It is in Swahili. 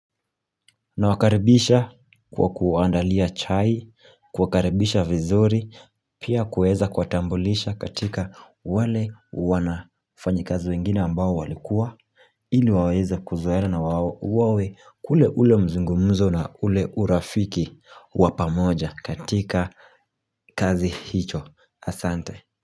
Na wakaribisha kwa kuwaandalia chai, kuwakaribisha vizuri, pia kuweza kuwatambulisha katika wale wafanyikazi wengine ambao walikuwa ili waweze kuzoeana na wawe na ule mazungumuzo na ule urafiki wa pamoja katika kazi hicho asante.